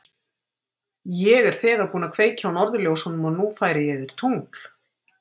Ég er þegar búinn að kveikja á norðurljósunum og nú færi ég þér tungl.